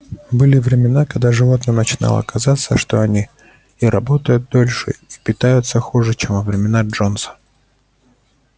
были времена когда животным начинало казаться что они и работают дольше и питаются хуже чем во времена джонса